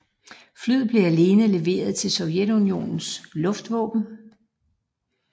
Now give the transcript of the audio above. Flyet blev alene leveret til Sovjetunionens luftvåben